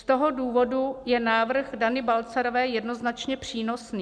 Z toho důvodu je návrh Dany Balcarové jednoznačně přínosný.